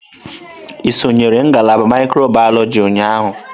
Ị sonyere ngalaba mikrobiyọlojị ụnyahụ?